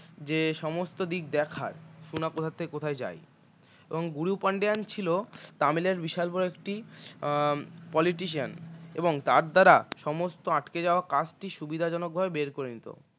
যে সমস্ত দিক দেখায় সোনা কোথা থেকে কোথায় যায় এবং গুরু পান্ডিয়ান ছিল তামিলের বিশাল বড় একটি politician এবং তার দ্বারা সমস্ত আটকে যাওয়ার কাজটি সুবিধাজনক বের করে নিত